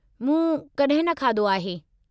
मूं कॾहिं न खाधो आहे।